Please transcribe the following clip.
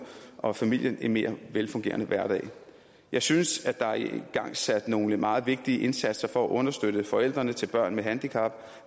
og familien en mere velfungerende hverdag jeg synes at der er igangsat nogle meget vigtige indsatser for at understøtte forældrene til børn med handicap